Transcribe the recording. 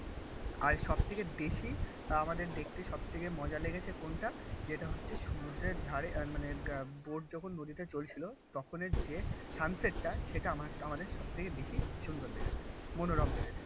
আর সব থেকে বেশি. আমাদের দেখতে সব থেকে মজা লেগেছে কোনটা? যেটা হচ্ছে সমুদ্রের ধারে আর মানে বোর্ড যখন নদীতে চলছিল তখনের যে সানসেট টা সেটা আমাআমাদের সব থেকে বেশি সুন্দর লেগেছিলো মনোরম লেগেছিলো